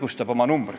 Muu ei tule kõne allagi.